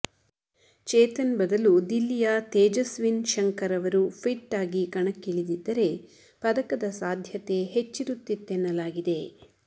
ಚೇತನ್ ಬದಲು ದಿಲ್ಲಿಯ ತೇಜಸ್ವಿನ್ ಶಂಕರ್ ಅವರು ಫಿಟ್ ಆಗಿ ಕಣಕ್ಕಿಳಿದಿದ್ದರೆ ಪದಕದ ಸಾಧ್ಯತೆ ಹೆಚ್ಚಿರುತ್ತಿತ್ತೆನ್ನಲಾಗಿದೆ